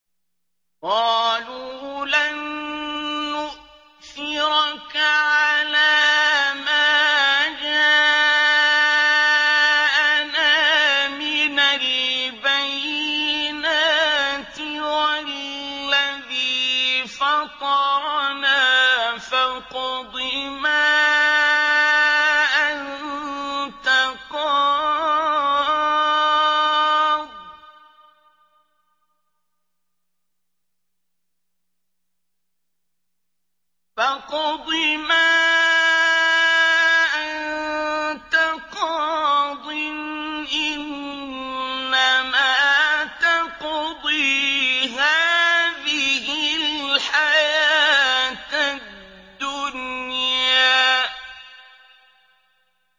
قَالُوا لَن نُّؤْثِرَكَ عَلَىٰ مَا جَاءَنَا مِنَ الْبَيِّنَاتِ وَالَّذِي فَطَرَنَا ۖ فَاقْضِ مَا أَنتَ قَاضٍ ۖ إِنَّمَا تَقْضِي هَٰذِهِ الْحَيَاةَ الدُّنْيَا